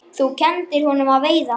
Þú kenndir honum að veiða.